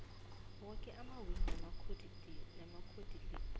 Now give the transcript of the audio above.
woke amawili namacodicils